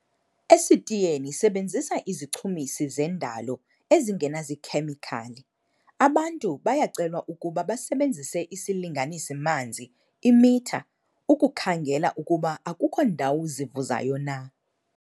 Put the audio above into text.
Esitiyeni sebenzisa izichumisi zendalo ezinganazikhemikhali. Abantu bayacelwa ukuba basebenzise isilinganisi-manzi, i-meter, ukukhangela ukuba akukho ndawo zivuzayo na.